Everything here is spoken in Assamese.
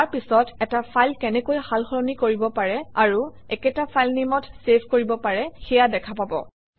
ইয়াৰ পিছত এটা ফাইল কেনেকৈ সালসলনি কৰিব পাৰি আৰু একেটা ফাইলনেমত চেভ কৰিব পাৰি সেয়া দেখা পাব